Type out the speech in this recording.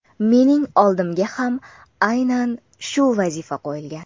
Mening oldimga ham aynan shu vazifa qo‘yilgan.